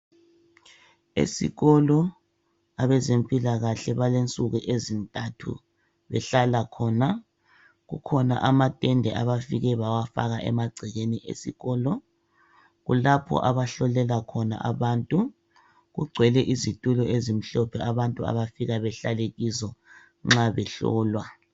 Esikolo abezempilakahle balensuku ezintathu behlala khona kukhona amathende abafike bawafaka emagcekeni esikolo. Kulapho abahlolela khona abantu kugcwele izitulo ezimhlophe abantu abafika bahlale kizo nxa behlolwa.